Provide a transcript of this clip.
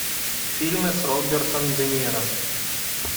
фильмы с робертом де ниро